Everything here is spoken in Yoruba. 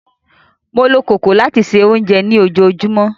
Mó ló kòkò lati se ounjẹ lojoojumọ.